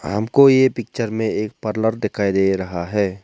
हमको ये पिक्चर में एक पार्लर दिखाई दे रहा है।